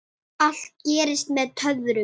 Tóti settist fyrir aftan.